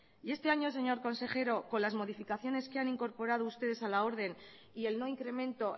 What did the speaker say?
y este año señor consejero con las modificaciones que han incorporado ustedes a la orden y el no incremento